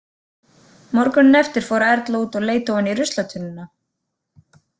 Morguninn eftir fór Erla út og leit ofan í ruslatunnuna.